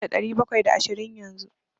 Banda ɗari bakwai da ashirin yanzu.